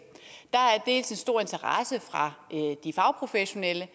dels er der stor interesse fra de fagprofessionelles og